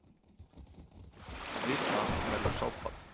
Við það verður sáðfall.